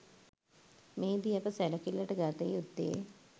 මෙහිදී අප සැලකිල්ලට ගත යුත්තේ